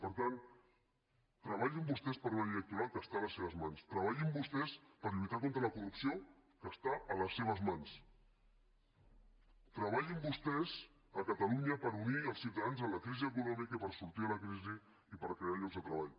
per tant treballin vostès per una llei electoral que és a les seves mans treballin vostès per lluitar contra la corrupció que és a les seves mans treballin vostès a catalunya per unir els ciutadans en la crisi econòmica i per sortir de la crisi i per crear llocs de treball